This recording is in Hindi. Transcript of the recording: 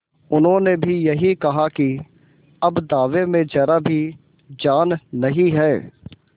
उन्होंने भी यही कहा कि अब दावे में जरा भी जान नहीं है